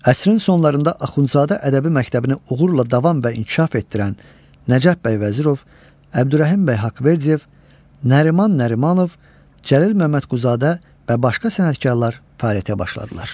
Əsrin sonlarında Axundzadə ədəbi məktəbini uğurla davam və inkişaf etdirən Nəcəf Bəy Vəzirov, Əbdürrəhim Bəy Haqverdiyev, Nəriman Nərimanov, Cəlil Məmmədquluzadə və başqa sənətkarlar fəaliyyətə başladılar.